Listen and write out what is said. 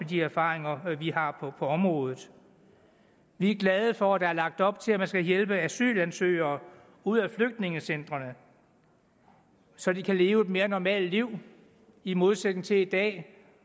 de erfaringer vi har på området vi er glade for at der er lagt op til at man skal hjælpe asylansøgere ud af flygtningecentrene så de kan leve et mere normalt liv i modsætning til i dag